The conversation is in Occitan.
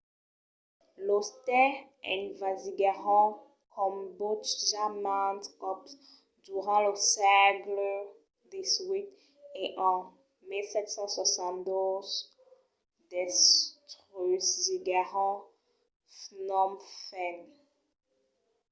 los tais envasiguèron cambòtja mantes còps durant lo sègle xviii e en 1772 destrusiguèron phnom phen